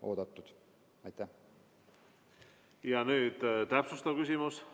Nüüd täpsustav küsimus.